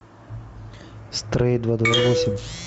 стрей два два восемь